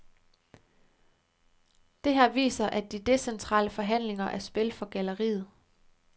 Det her viser, at de decentrale forhandlinger er spil for galleriet.